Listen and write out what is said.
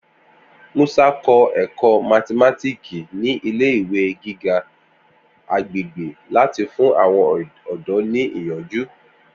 Musa kọ ẹkọ mathimatiki ni ile-iwe giga agbegbe lati fun awọn ọdọ ni iyanju.